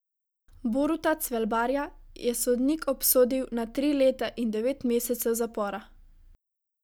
Boruta Cvelbarja je sodnik obsodil na tri leta in devet mesecev zapora.